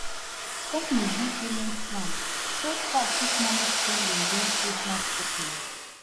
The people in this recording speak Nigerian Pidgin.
company gree payment plan so staff fit manage spending during christmas shopping